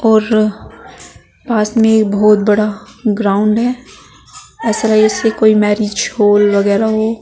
और पास में एक बहुत बड़ा ग्राउंड है ऐसा जैसे कोई मैरिज हॉल वगैरा हो।